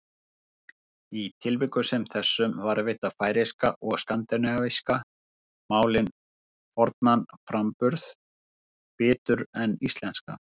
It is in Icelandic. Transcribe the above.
Í tilvikum sem þessum varðveita færeyska og skandinavísku málin fornan framburð betur en íslenska.